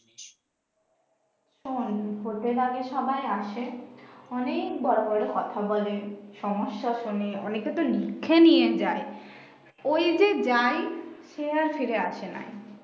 উম বলতে গেলে সবাই আগে আসে অনেক বড়ো বড়ো কথা বলে সমস্যা শোনে অনেকে তো লিখে নিয়ে যায় ওই যে যাই সে আর ফিরে আসে না